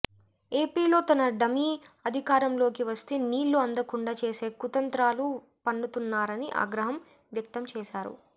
ఏపీలో తన డమీ అధికారంలోకి వస్తే నీళ్లు అందకుండా చేసే కుతంత్రాలు పన్నుతున్నారని ఆగ్రహం వ్యక్తం చేశారు